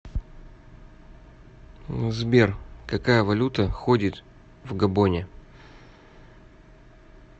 сбер какая валюта ходит в габоне